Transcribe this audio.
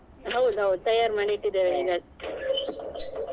ಹೌದೌದು ತಯಾರ್ ಮಾಡಿಟ್ಟಿದ್ದೇವೆ .